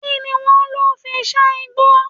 Kí ni wọ́n lò fi sán igbó?